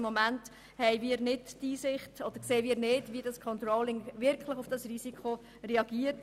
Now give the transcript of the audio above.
Im Moment sehen wir nicht, wie das Controlling wirklich auf das Risiko reagiert.